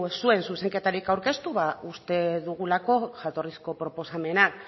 zuen zuzenketarik aurkeztu uste dugulako jatorrizko proposamena